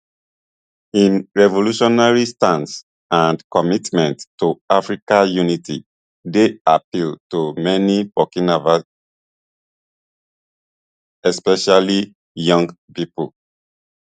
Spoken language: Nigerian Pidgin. im revolutionary stance and commitment to african unity dey appeal to many burkinab especially young pipo